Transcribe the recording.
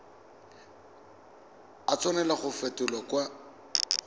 a tshwanela go fetolwa kwa